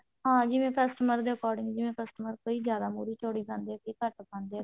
ਹਾਂ ਜਿਵੇਂ customer ਦੇ according ਜਿਵੇਂ customer ਕਈ ਜਿਆਦਾ ਮੁਰ੍ਹੀ ਚੋਡੀ ਪਾਉਂਦੇ ਆ ਕਈ ਘੱਟ ਪਾਉਂਦੇ ਆ